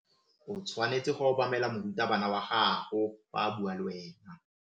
O tshwanetse go obamela morutabana wa gago fa a bua le wena.